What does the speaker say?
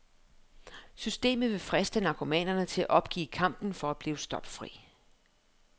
Systemet vil friste narkomanerne til at opgive kampen for at blive stoffri.